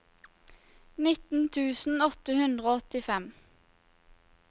nitten tusen åtte hundre og åttifem